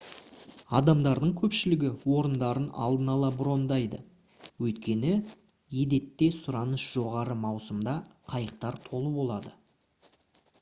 адамдардың көпшілігі орындарын алдын ала брондайды өйткені едетте сұраныс жоғары маусымда қайықтар толы болады